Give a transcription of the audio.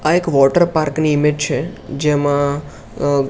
આ એક વોટરપાર્ક ની ઇમેજ છે જેમા અ--